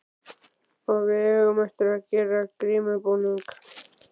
Og við eigum eftir að gera grímubúning.